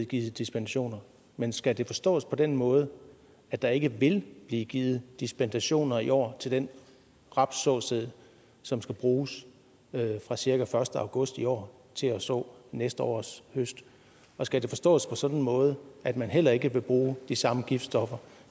givet dispensationer men skal det forstås på den måde at der ikke vil blive givet dispensationer i år til den rapssåsæd som skal bruges fra cirka første august i år til at så næste års høst og skal det forstås på sådan en måde at man heller ikke vil bruge de samme giftstoffer